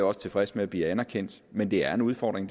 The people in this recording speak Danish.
også tilfreds med bliver anerkendt men det er en udfordring